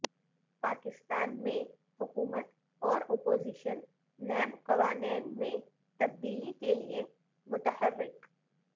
پاکستان میں حکومت اور اپوزیشن نیب قوانین میں تبدیلی کے لیے متحرک